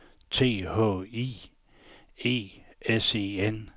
T H I E S E N